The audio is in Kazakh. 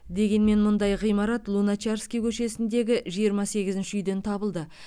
дегенмен мұндай ғимарат луначарский көшесіндегі жиырма сегізінші үйден табылды